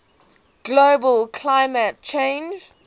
global climate change